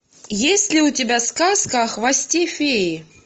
есть ли у тебя сказка о хвосте феи